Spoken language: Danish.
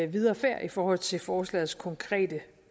videre færd i forhold til forslagets konkrete